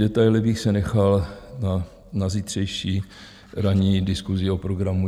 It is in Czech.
Detaily bych si nechal na zítřejší ranní diskusi o programu.